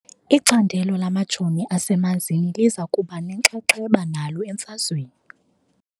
Icandelo lamajoni asemanzini liza kuba nenxaxheba nalo emfazweni .